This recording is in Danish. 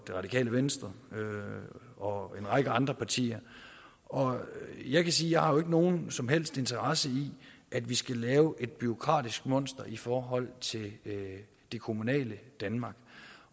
radikale venstre og en række andre partier og jeg vil sige jeg har nogen som helst interesse i at vi skal lave et bureaukratisk monster i forhold til det kommunale danmark